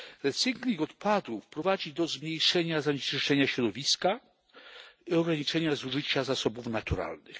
Recykling odpadów prowadzi do zmniejszenia zanieczyszczenia środowiska i ograniczenia zużycia zasobów naturalnych.